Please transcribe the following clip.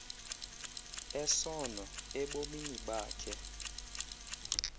esono ebomini bakhe